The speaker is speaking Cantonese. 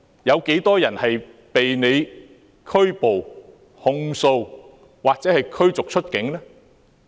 有多少人被拘捕、控訴或驅逐出境呢？